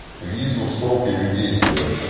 визу в срок её действия